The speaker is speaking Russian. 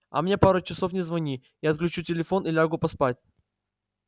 а мне пару часов не звони я отключу телефон и лягу поспать